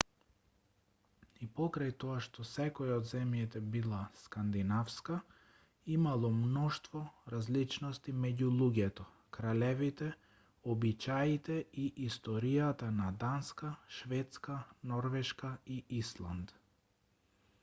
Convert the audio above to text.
и покрај тоа што секоја од земјите била скандинавска имало мноштво различности меѓу луѓето кралевите обичаите и историјата на данска шведска норвешка и исланд